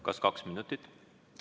Kas kaks minutit?